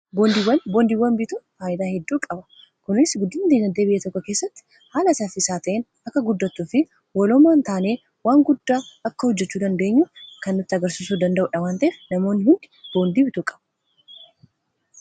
boondiiwwan bituun faayidaa hedduu qaba kuniis guddiina dinagdee biyya tokko keessatti haala ifaaf bilisa ta'een akka guddatuu fi walomaan taanee waan guddaa akka hojjechuu dandeenyu kan nutti agarsisuu danda'uudha waan ta'eef namoonni hundi boondii bituu qaba